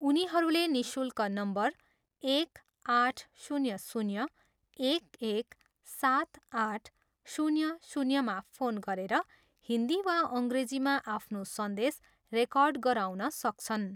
उनीहरूले निशुल्क नम्बर एक, आठ, शून्य, शून्य, एक, एक, सात, आठ, शून्य, शून्यमा फोन गरेर हिन्दी वा अङ्ग्रेजीमा आफ्नो सन्देश रेकर्ड गराउन सक्छन्।